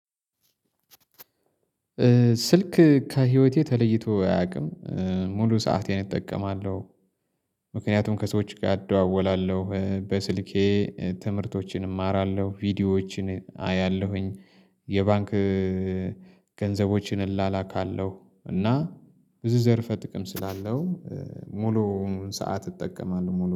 ስልክ ከህይወቴ ተለይቶ አያውቅም። ሙሉ ሰአቴን እጠቀማለሁ። ምክንያቱም ከሰዎች ጋር አደዋወላለሁ በስልኬ ትምህርቶችን እማራለሁ ቪዲዮዎችን አያለሁኝ። የባንክ ገንዘቦችን እላላካለሁ እና ብዙ ዘርፈ ጥቅም ስላለው። ሙሉውን ሰዓት እጠቀማለሁ ሙሉ